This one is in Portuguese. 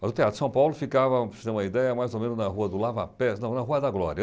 Mas o Teatro São Paulo ficava, para você ter uma ideia, mais ou menos na rua do Lava Pés, não, na Rua da Glória.